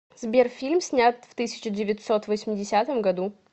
сбер фильм снят в тысяча девятьсот восьмидесятом году